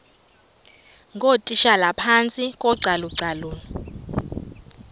ngootitshala phantsi kocalucalulo